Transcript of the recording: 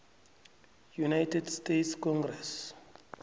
united states congress